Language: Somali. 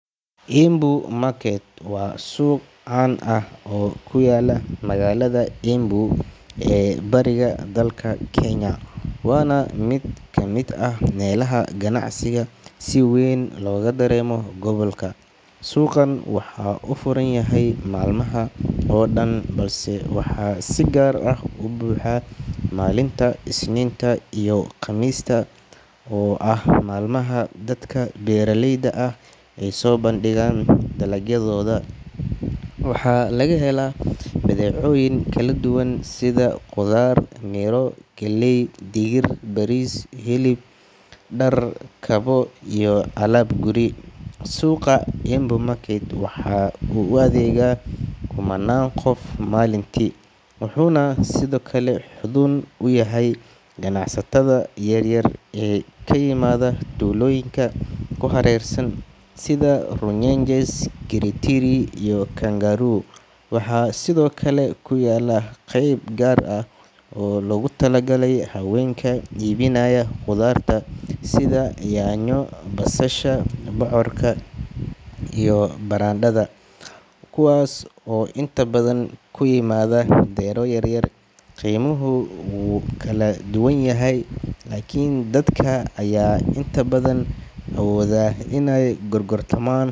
Embu market waa suuq caan ah oo ku yaalla magaalada Embu ee bariga dalka Kenya, waana mid ka mid ah meelaha ganacsiga si weyn looga dareemo gobolka. Suuqan waxa uu furan yahay maalmaha oo dhan, balse waxaa si gaar ah u buuxa maalmaha Isniinta iyo Khamiista oo ah maalmaha dadka beeraleyda ah ay soo bandhigaan dalagyadooda. Waxaa laga helaa badeecooyin kala duwan sida khudaar, miro, galley, digir, bariis, hilib, dhar, kabo iyo alaab guri. Suuqa Embu market waxa uu u adeegaa kumannaan qof maalintii, wuxuuna sidoo kale xuddun u yahay ganacsatada yaryar ee ka yimaada tuulooyinka ku hareeraysan sida Runyenjes, Kiritiri, iyo Kangaru. Waxaa sidoo kale ku yaalla qeyb gaar ah oo loogu tala galay haweenka iibinaya khudaarta sida yaanyo, basasha, bocorka iyo barandhada, kuwaas oo inta badan ka yimaada beero yaryar. Qiimuhu wuu kala duwan yahay, laakiin dadka ayaa inta badan awooda in ay gorgortamaan.